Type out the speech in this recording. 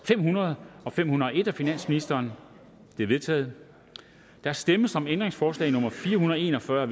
fem hundrede og fem hundrede og en af finansministeren de er vedtaget der stemmes om ændringsforslag nummer fire hundrede og en og fyrre af